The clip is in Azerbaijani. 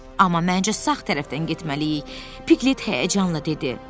Amma məncə sağ tərəfdən getməliyik, Piqlet həyəcanla dedi.